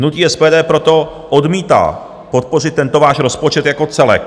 Hnutí SPD proto odmítá podpořit tento váš rozpočet jako celek.